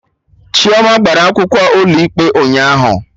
Chioma gbara akwụkwọ ụlọ ikpe ụnyaahụ